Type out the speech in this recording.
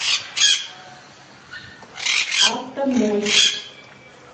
автомощь